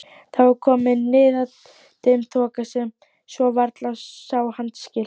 Það var komin niðadimm þoka svo varla sá handaskil.